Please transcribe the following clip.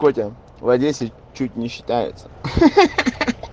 в одессе чуть не считается